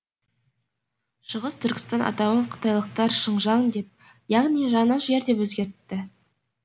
шығыс түркістан атауын қытайлықтар шыңжаң деп яғни жаңа жер деп өзгертті